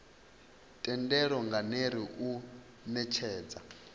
thendelo nga ner u netshedza